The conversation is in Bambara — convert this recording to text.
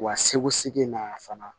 Wa segu segin na fana